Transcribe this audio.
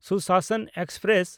Sushasan express